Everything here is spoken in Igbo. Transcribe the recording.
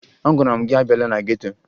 Agwara m gị abịala na geto!